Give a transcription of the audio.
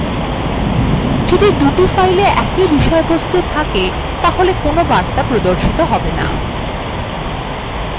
যদি দুটি files এ একই বিষয়বস্তু থাকে তবে কোন বার্তা প্রদর্শিত have no